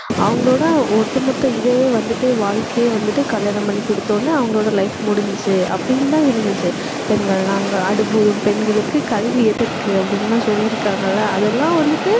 அவங்களோட ஒட்டுமொத்த இதே வந்துட்டு, வாழ்க்கையே வந்துட்டு கல்யாணம் பண்ணி கொடுத்தவுடனே அவங்களோட life முடிஞ்சுச்சு அப்படின்னுதான் இருந்துச்சு. பெண்கள் எல்லாம் அங்கே அடுப்பூதும் பெண்களுக்கு கல்வி எதற்கு அப்படின்னெல்லாம் சொல்லி இருக்காங்கல்ல அதெல்லாம் வந்துட்டு